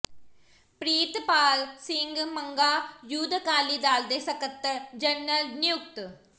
Pritpal Singh Manga youth Akali Dal ਦੇ ਸਕੱਤਰ general ਨਿਯੁਕਤ